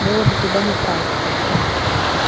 было бы куда направить как говорится